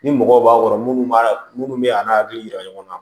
Ni mɔgɔw b'a kɔrɔ minnu b'a minnu bɛ a n'a hakili yira ɲɔgɔn na